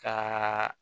Ka